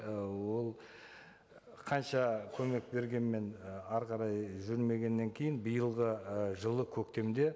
і ол қанша көмек бергенмен і әрі қарай жүрмегеннен кейін биылғы ы жылы көктемде